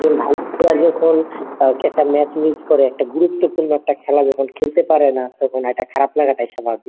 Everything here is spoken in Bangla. একজন ভালো player যখন একটা match miss করে একটা গুরুত্বপূর্ণ একটা খেলা যখন খেলতে পারে না তখন একটা খারাপ লাগাটাই স্বাভাবিক।